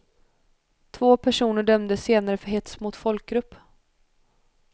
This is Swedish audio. Två personer dömdes senare för hets mot folkgrupp.